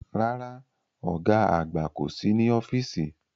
Rárá, ọ̀gá àgbà kò sí ní ọ́fíìsì